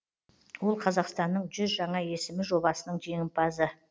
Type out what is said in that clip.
ол қазақстанның жүз жаңа есімі жобасының жеңімпазы